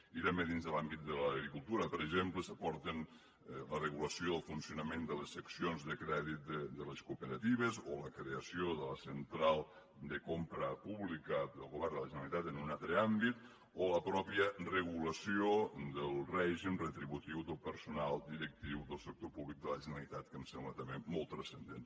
i també dins de l’àmbit de l’agricultura per exemple s’aporten la regulació del funcionament de les seccions de crèdit de les cooperatives o la creació de la central de compra pública del govern de la generalitat en un altre àmbit o la mateixa regulació del règim retributiu del personal directiu del sector públic de la generalitat que em sembla també molt transcendent